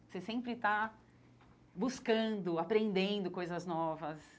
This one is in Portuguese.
Você sempre está buscando, aprendendo coisas novas.